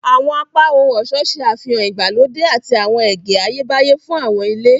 Awọn apá ohun-ọṣọ ṣe àfihàn ìgbàlódé àti awọn ẹgẹ Ayebaye fún awọn ile.